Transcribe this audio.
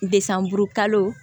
Desanburu kalo